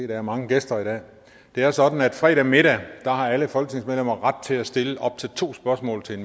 der er mange gæster i dag det er sådan at fredag middag har alle folketingsmedlemmer ret til at stille op til to spørgsmål til